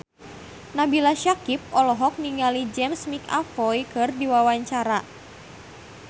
Nabila Syakieb olohok ningali James McAvoy keur diwawancara